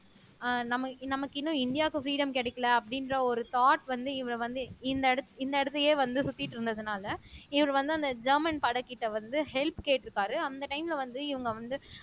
அஹ் நம்ம நமக்கு இன்னும் இந்தியாவுக்கு பிரீடம் கிடைக்கல அப்படின்ற ஒரு தாட் வந்து இவரை வந்து இந்த இடத் இந்த இடத்தையே வந்து சுத்திட்டிருந்ததனால இவர் வந்து அந்த ஜெர்மன் படைக்கிட்ட வந்து ஹெல்ப் கேட்டிருக்காரு அந்த டைம்ல வந்து இவங்க வந்து